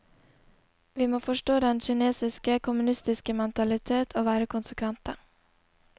Vi må forstå den kinesiske, kommunistiske mentalitet og være konsekvente.